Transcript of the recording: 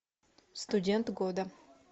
студент года